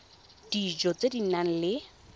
dijo tse di nang le